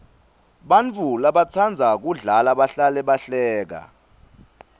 bantfu labatsandza kudla bahlale bahleka